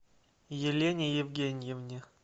елене евгеньевне